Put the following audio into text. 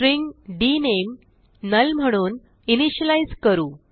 string डीएनएमई null म्हणून initialise करू